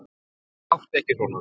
Góði, láttu ekki svona.